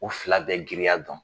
U fila bɛɛ giriya dɔn